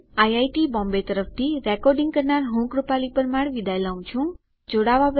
IIT Bombay તરફથી spoken tutorial project માટે ભાષાંતર કરનાર હું જ્યોતી સોલંકી વિદાય લઉં છું